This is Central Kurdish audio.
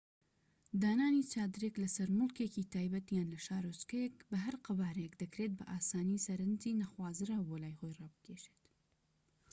دانانی چادرێک لەسەر موڵکێکی تایبەت یان لە شارۆچکەیەک بە هەر قەبارەیەک دەکرێت بە ئاسانی سەرنجی نەخوازراو بۆ لای خۆی ڕابکێشێت‎